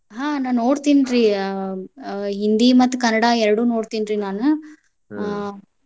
ಹಾ ನಾ ನೋಡ್ತಿನ್ರಿ ಆ ಹಿಂದಿ ಮತ್ತ್ ಕನ್ನಡ ಎರಡು ನೋಡ್ತೇನ್ರಿ ನಾನ್.